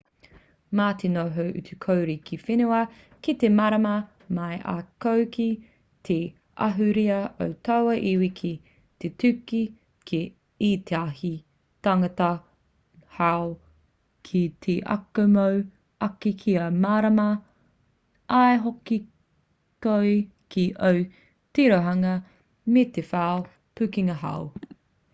mā te noho utu-kore ki whenua kē e mārama mai ai koe ki te ahurea o taua iwi ki te tūtaki ki ētahi tāngata hou ki te ako mōu ake kia mārama ai hoki koe ki o tirohanga me te whai pukenga hou